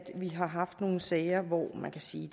vi har haft nogle sager hvor man kan sige